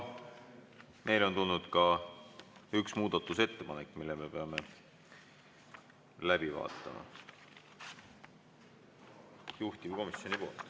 Meile on tulnud ka üks muudatusettepanek, mille me peame läbi vaatama.